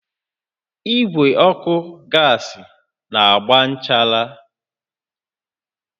Igwe ọkụ gas na-agba nchara